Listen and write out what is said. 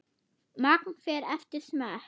Magn fer eftir smekk.